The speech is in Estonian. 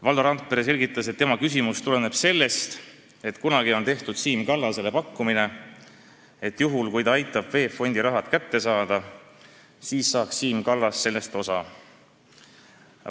Valdo Randpere selgitas, et tema küsimus tuleneb sellest, et kunagi on tehtud Siim Kallasele pakkumine, et juhul kui ta aitab VEB Fondi raha kätte saada, siis saaks Siim Kallas sellest osa.